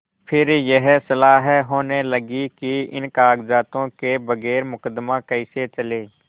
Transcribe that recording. फिर यह सलाह होने लगी कि इन कागजातों के बगैर मुकदमा कैसे चले